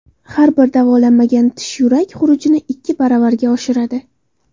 Har bir davolanmagan tish yurak xurujini ikki baravarga oshiradi.